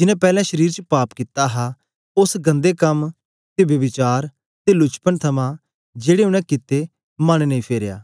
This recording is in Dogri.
जिनैं पैलैं शरीर च पाप कित्ता हा ते ओस गंदे कम ते ब्यभिचार ते लुचपन थमां जेड़े उनै कित्ते मन नेई फेरया